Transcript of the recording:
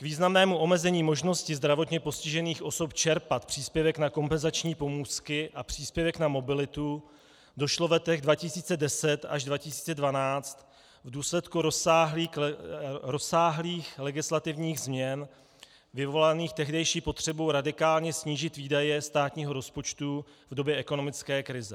K významnému omezení možnosti zdravotně postižených osob čerpat příspěvek na kompenzační pomůcky a příspěvek na mobilitu došlo v letech 2010 až 2012 v důsledku rozsáhlých legislativních změn vyvolaných tehdejší potřebu radikálně snížit výdaje státního rozpočtu v době ekonomické krize.